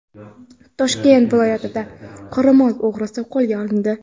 Toshkent viloyatida qoramol o‘g‘risi qo‘lga olindi.